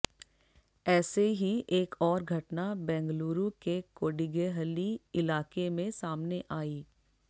ऐसी ही एक और घटना बेंगलुरु के कोडिगेहल्ली इलाके में सामने आई